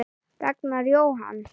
Ragnar Jóhann.